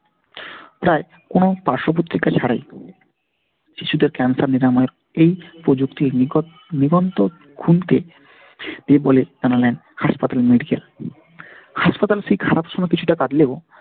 প্রায় কোনো পার্শ্ব-প্রতিক্রিয়া ছাড়াই শিশুদের cancer নিরাময়ের এই প্রযুক্তির নিকট নিবন্ধন এই বলে জানালেন হাসপাতালের medical হাসপাতালের সেই খারাপ সময় কিছুটা কাটলেও,